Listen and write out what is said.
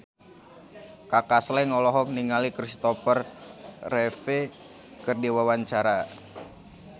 Kaka Slank olohok ningali Kristopher Reeve keur diwawancara